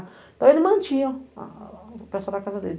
Então, eles mantinha o pessoal da casa dele.